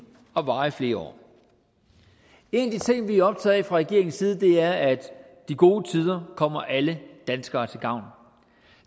og varer i flere år en af de ting vi er optaget af fra regeringens side er at de gode tider kommer alle danskere til gavn